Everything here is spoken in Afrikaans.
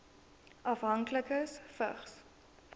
afhanklikes vigs